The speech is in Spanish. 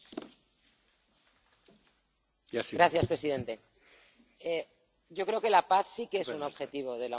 Señor presidente, yo creo que la paz sí que es un objetivo de la Unión Europea, de su política exterior.